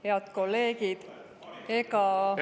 Head kolleegid!